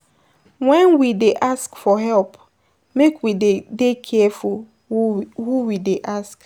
When we dey ask for help make we dey dey careful who, who we dey ask